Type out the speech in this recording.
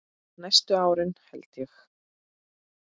Næstu árin held ég, já.